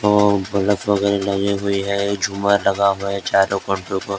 और बल्ब वगैरह लगे हुए हैं झूमर लगा हुआ हैं चारो --